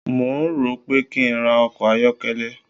Mò ń rò ó pé kí n ra ọkọ̀ ayọ́kẹ́lẹ́.